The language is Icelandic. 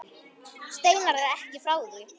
Steinar er ekki frá því.